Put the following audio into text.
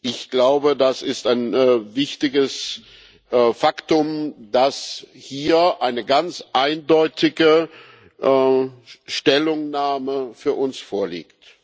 Ich glaube, das ist ein wichtiges Faktum, dass hier eine ganz eindeutige Stellungnahme für uns vorliegt.